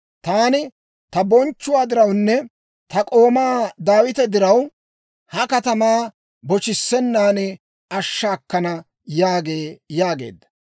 Taani ta bonchchuwaa dirawunne ta k'oomaa Daawita diraw, ha Katamaa boshissenaan ashsha akkana› yaagee» yaageedda.